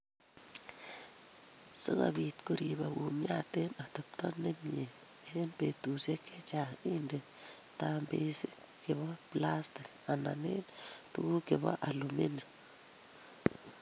Si kobiit koriipok kumyat eng' atepto ne myee eng' peetuusyek che chaang', indei tambeesik chebo plastik anan eng' tuguuk che po alumium.